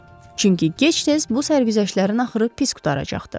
Çünki gec-tez bu sərgüzəştlərin axırı pis qurtaracaqdı.